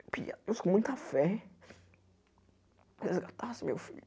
Eu pedia a Deus com muita fé, resgatasse meu filho.